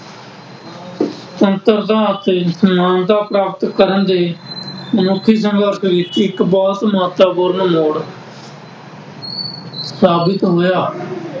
ਸੰਪਰਦਾਇ ਅਤੇ ਮਾਨਤਾ ਪ੍ਰਾਪਤ ਕਰਨ ਦੇ ਮਨੁੱਖੀ ਸੰਪਰਕ ਵਿੱਚ ਇੱਕ ਬਹੁਤ ਮਹੱਤਵਪੂਰਨ ਮੋੜ ਸਾਬਿਤ ਹੋਇਆ।